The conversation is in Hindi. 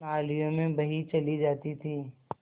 नालियों में बही चली जाती थी